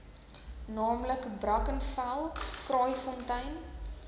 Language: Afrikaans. naamlik brackenfell kraaifontein